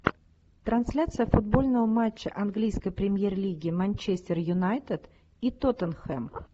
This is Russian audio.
трансляция футбольного матча английской премьер лиги манчестер юнайтед и тоттенхэм